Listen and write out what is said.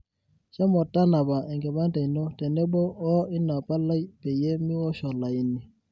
shomo tanapa enkipande ino tenebo wo ina palai peyie miwosh olaini